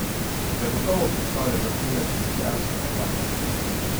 Zagotovo predstavlja vrhunec oceanskega jadranja.